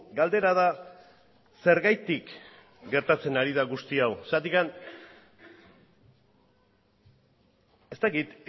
galdera da zergatik gertatzen ari da guzti hau zergatik ez dakit